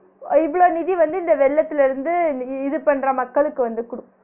இவ்ளோ நிதி வந்து இந்த வெள்ளத்துல இருந்து இ~ இது பண்ற மக்களுக்கு வந்து குடுக்கு